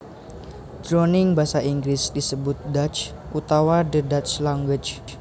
Jroning Basa Inggris disebut Dutch utawa the Dutch Language